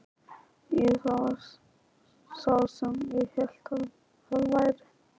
Jú, það var sá sem ég hélt að það væri!